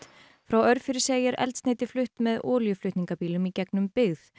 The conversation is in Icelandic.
frá Örfirisey er eldsneyti flutt með olíuflutningabílum í gegnum byggð